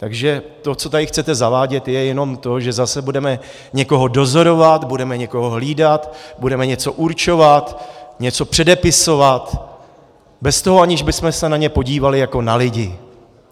Takže to, co tady chcete zavádět, je jenom to, že zase budeme někoho dozorovat, budeme někoho hlídat, budeme něco určovat, něco předepisovat bez toho, aniž bychom se na ně podívali jako na lidi.